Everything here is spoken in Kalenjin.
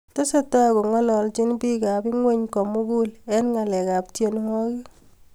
Tesetai kongaloljini bikab ingweny ko mugul eng ngalekab tienwogik